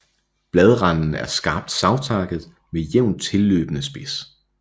Bladranden er skarpt savtakket med jævnt tilløbende spids